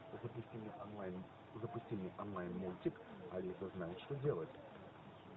запусти мне онлайн запусти мне онлайн мультик алиса знает что делает